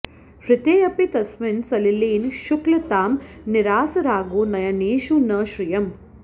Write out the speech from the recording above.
हृतेऽपि तस्मिन् सलिलेन शुक्लतां निरास रागो नयनेषु न श्रियम्